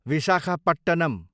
Visakhapatnam